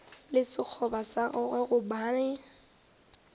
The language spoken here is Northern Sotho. le sekgoba sa gagwe gobane